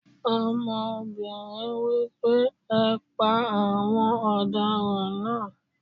Ọmọbìnrin wí pé "ẹ pa àwọn ọ̀daràn náà!"